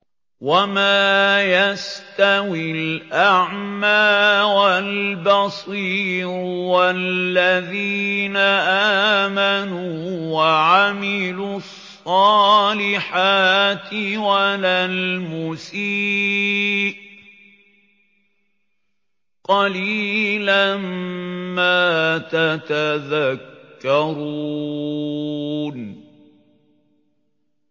وَمَا يَسْتَوِي الْأَعْمَىٰ وَالْبَصِيرُ وَالَّذِينَ آمَنُوا وَعَمِلُوا الصَّالِحَاتِ وَلَا الْمُسِيءُ ۚ قَلِيلًا مَّا تَتَذَكَّرُونَ